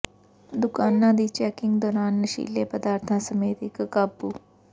ਦੁਕਾਨਾਂ ਦੀ ਚੈਕਿੰਗ ਦੌਰਾਨ ਨਸ਼ੀਲੇ ਪਦਾਰਥਾਂ ਸਮੇਤ ਇਕ ਕਾਬੂ